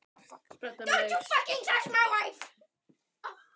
Helga Arnardóttir: Var kominn reykur inn í þetta herbergi?